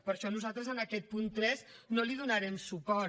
per això nosaltres en aquest punt tres no li donarem suport